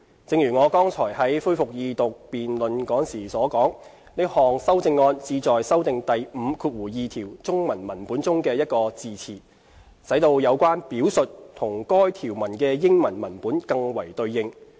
正如我剛才在恢復二讀辯論時所說，這項修正案旨在修訂第52條中文文本中的一個字詞，使到有關表述與該項條文的英文文本更為對應。